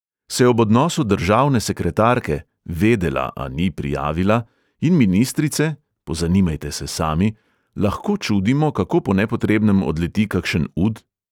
Se ob odnosu državne sekretarke – vedela, a ni prijavila – in ministrice – pozanimajte se sami – lahko čudimo, kako po nepotrebnem odleti kakšen ud?